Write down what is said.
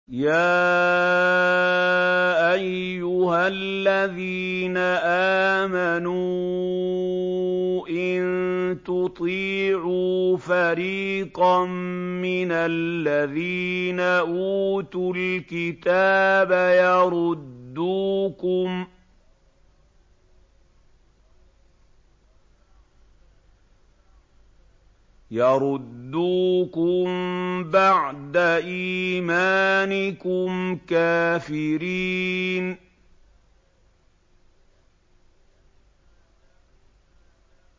يَا أَيُّهَا الَّذِينَ آمَنُوا إِن تُطِيعُوا فَرِيقًا مِّنَ الَّذِينَ أُوتُوا الْكِتَابَ يَرُدُّوكُم بَعْدَ إِيمَانِكُمْ كَافِرِينَ